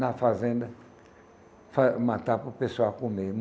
na fazenda, matar para o pessoal comer.